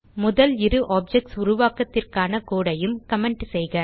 முதல் இரு ஆப்ஜெக்ட்ஸ் உருவாக்கத்திற்கான கோடு ஐயும் கமெண்ட் செய்க